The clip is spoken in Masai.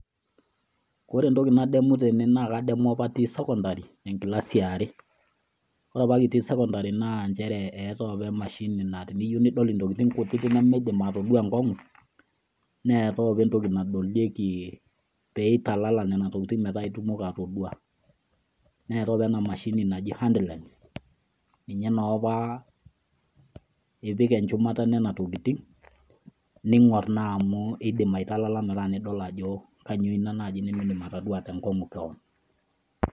Ore entoki nadamu tene naa kadamu apa atii secondary enkilasi eare. Ore apa kitii secondary naa nchere eetae apa emashini naa teniyieu nidol intokitin nemidim atoduaa enkongu neetae apa entoki nadolieki pitalala nena tokitin metaa itumoki atoduaa .Neetae apa ena mashini naji hand lense, ninye noopa ipik enchumata enena tokitin ,ningor naa amu idim aitalala metaa idol ajo kainyioo ina naji nimidim atoduaa tenkongu kewon.